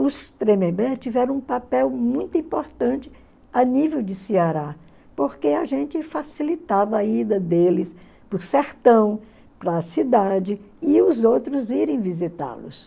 Os Tremembé tiveram um papel muito importante a nível de Ceará, porque a gente facilitava a ida deles para o sertão, para a cidade, e os outros irem visitá-los.